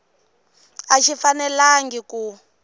a xi fanelangi ku